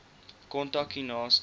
kontak u naaste